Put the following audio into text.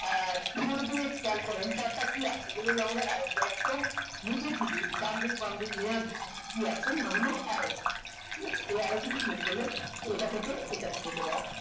আহ নিচের দিকে ডানদিক বাম দিক নিয়ে এই arrow টিতে click করলে এটা থেকে এটাতে যেতে পারবে